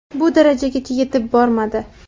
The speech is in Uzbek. Bu darajagacha yetib bormadi.